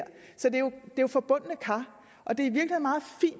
jo forbundne kar og det